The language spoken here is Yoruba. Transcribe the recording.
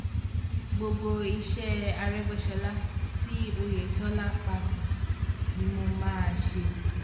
gbogbo iṣẹ́ arégbèsọlá tí ọ̀yẹ̀tọ́lá pa tì ni mo máa ṣe